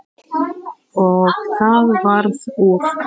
Og það varð úr.